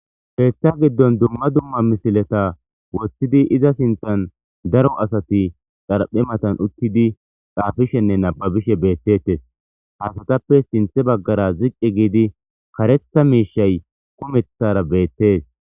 Heeththa giddon dumma dumma misileta wottidi iza sinthan daro asati xarphe matan uttidi xaafishenne nababishe beettettes. Asatappe sinthe baggara ziqqe giidi karetha miishay kumethara beettes.